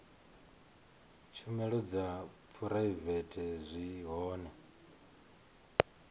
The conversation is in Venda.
tshumelo dza phuraivete zwi hone